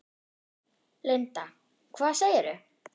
Linda: Hvað segirðu?